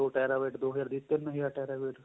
ਦੋ terabyte ਦੋ ਹਜ਼ਾਰ ਦੀ ਤਿੰਨ ਹਜ਼ਾਰ terabyte